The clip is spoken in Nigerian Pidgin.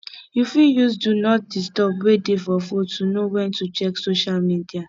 you fit use do not disturb wey dey for phone to know when to check social media